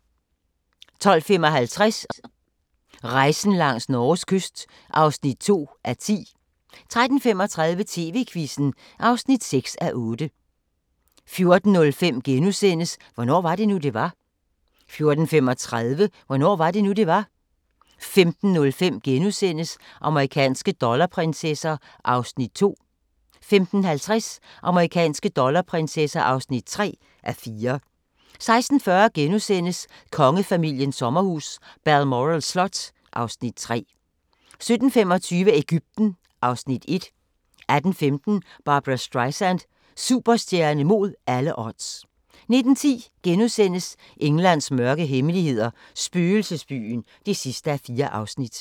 12:55: Rejsen langs Norges kyst (2:10) 13:35: TV-Quizzen (6:8) 14:05: Hvornår var det nu, det var? * 14:35: Hvornår var det nu, det var? 15:05: Amerikanske dollarprinsesser (2:4)* 15:50: Amerikanske dollarprinsesser (3:4) 16:40: Kongefamiliens sommerhus – Balmoral slot (Afs. 3)* 17:25: Egypten (Afs. 1) 18:15: Barbra Streisand – Superstjerne mod alle odds 19:10: Englands mørke hemmeligheder – spøgelsesbyen (4:4)*